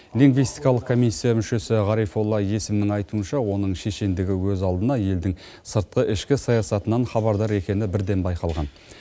лингвистикалық комиссия мүшесі ғарифолла есімнің айтуынша оның шешендігі өз алдына елдің сыртқы ішкі саясатынан хабардар екені бірден байқалған